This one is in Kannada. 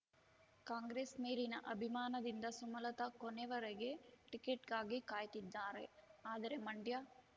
ಕಾಂಗ್ರೆಸ್ ಮೇಲಿನ ಅಭಿಮಾನದಿಂದ ಸುಮಲತಾ ಕೊನೆವರೆಗೆ ಟಿಕೆಟ್‌ಗಾಗಿ ಕಾಯ್ತಿದ್ದಾರೆ ಆದರೆ ಮಂಡ್ಯ